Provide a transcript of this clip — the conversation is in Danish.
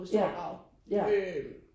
Ja ja